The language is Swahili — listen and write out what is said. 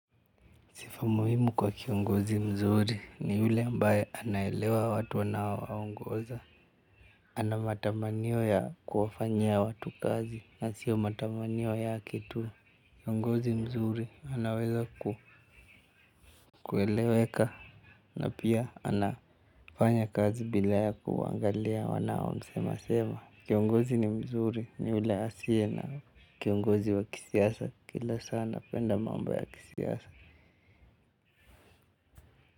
Sifa muhimu kwa kiongozi mzuri ni ule ambaye anaelewa watu anaowaongoza. Ana matamanio ya kuwafanyia watu kazi na sio matamanio yake tu. Kiongozi mzuri anaweza kueleweka na pia anafanya kazi bila ya kuangalia wanaomsema sema. Kiongozi mzuri ni ule asiye na kiongozi wa kisiasa kila saa anapenda mambo ya kisiasa.